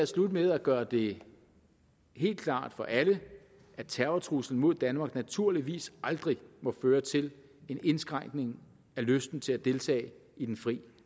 slutte med at gøre det helt klart for alle at terrortruslen mod danmark naturligvis aldrig må føre til en indskrænkning af lysten til at deltage i den fri